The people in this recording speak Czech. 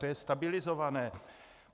To je stabilizované?